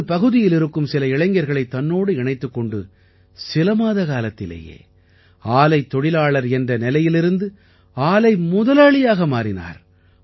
தனது பகுதியிலிருக்கும் சில இளைஞர்களைத் தன்னோடு இணைத்துக் கொண்டு சில மாத காலத்திலேயே ஆலைத் தொழிலாளர் என்ற நிலையிலிருந்து ஆலை முதலாளியாக மாறினார்